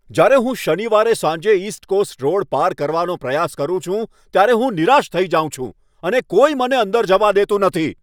જ્યારે હું શનિવારે સાંજે ઈસ્ટ કોસ્ટ રોડ પાર કરવાનો પ્રયાસ કરું છું ત્યારે હું નિરાશ થઈ જાઉં છું અને કોઈ મને અંદર જવા દેતું નથી.